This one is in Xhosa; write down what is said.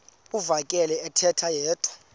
uvakele ethetha yedwa